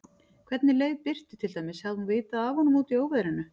Hvernig leið Birtu til dæmis, hafði hún vitað af honum úti í óveðrinu?